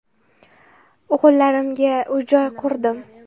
O‘g‘illarimga uy-joy qurdim.